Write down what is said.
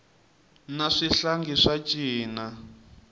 na swihlangi swa cina